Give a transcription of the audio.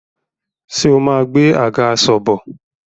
Ṣé o máa gbé àgàsọ̀ bọ̀?